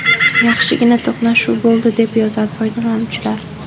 Yaxshigina to‘qnashuv bo‘ldi”, deb yozadi foydalanuvchilar.